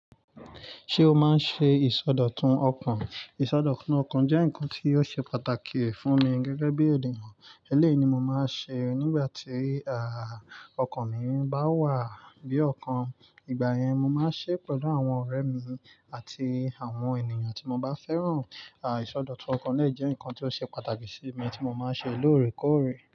Ṣé o máa ń ṣe ìsọdọ̀tun ọkàn? Ìsọdọ̀tun ọkàn jẹ́ nǹkan tí óò ṣe pàtàkì fún mi gẹ́gẹ́ bí ènìyàn. Elẹ́yi mo máa ṣe é nígbà tí, à, ọkàn mi bá wà bí ọ̀kan. Ìgbà yẹn, mo máa ṣe é pẹ̀lú àwọn ọ̀rẹ́ mi àti àwọn ènìyàn tí mo bá fẹ́ràn. À, ìsọdọ̀tun ọkàn lẹ́ẹ̀ jẹ́ nǹkan tí ó ṣe pàtàkì sí mi tí mo máa ń ṣe lóòrèkóòrè.